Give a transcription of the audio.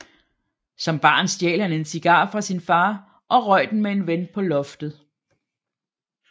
Som barn stjal han en cigar fra sin far og røg den med en ven på loftet